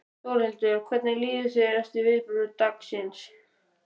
Þórhildur: Hvernig líður þér eftir viðburði dagsins í dag?